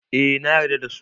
Eh nayar da dasu